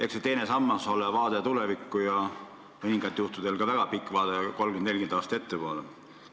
Eks see teine sammas ole vaade tulevikku ja mõningatel juhtudel ka väga pikk vaade, kolmkümmend-nelikümmend aastat ettepoole.